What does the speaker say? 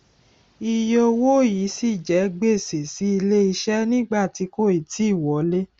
iye owó yìí ṣì jẹ gbèsè sí ilé iṣẹ nígbà tí kò ì tíì wọlé